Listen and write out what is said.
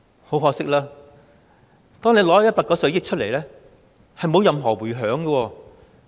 很可惜，即使政府撥出190億元，也是沒有任何迴響的。